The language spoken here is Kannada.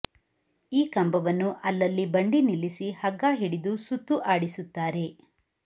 ಈ ಕಂಬವನ್ನು ಅಲ್ಲಲ್ಲಿ ಬಂಡಿ ನಿಲ್ಲಿಸಿ ಹಗ್ಗ ಹಿಡಿದು ಸುತ್ತು ಆಡಿಸುತ್ತಾರೆ